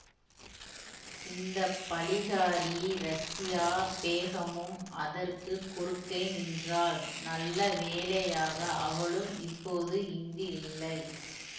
இந்த பழிகாரி ரஸியா பேகமும் அதற்கு குறுக்கே நின்றாள் நல்ல வேளையாக அவளும் இப்போது இங்கு இல்லை